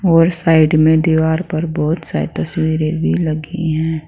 और साइड में दीवार पर बहुत सारी तस्वीरें भी लगी हैं।